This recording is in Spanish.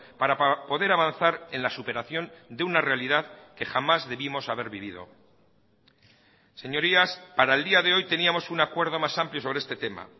para poder avanzar en la superación de una realidad que jamás debimos haber vivido señorías para el día de hoy teníamos un acuerdo más amplio sobre este tema